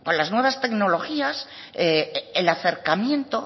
las nuevas tecnologías el acercamiento